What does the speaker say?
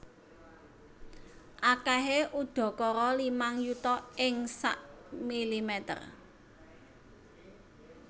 Akèhé udakara limang yuta ing sak milimeter